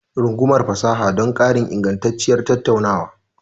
Rungumar fasaha don ƙarin ingantacciyar tattaunawa.